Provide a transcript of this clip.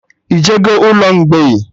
Ị jego ụlọ mgbei?